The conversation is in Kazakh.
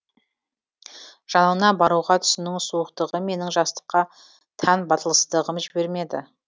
жанына баруға түсінің суықтығы менің жастыққа тән батылсыздығым жібермеді